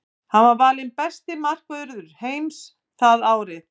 Hann var valinn besti markvörður heims það árið.